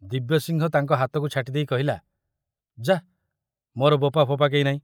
ଦିବ୍ୟସିଂହ ତାଙ୍କ ହାତକୁ ଛାଟି ଦେଇ କହିଲା, ଯା, ମୋର ବୋପା ଫୋପା କେହି ନାହିଁ।